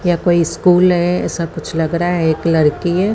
यह कोई स्कूल है ऐसा कुछ लग रहा है एक लडकी है।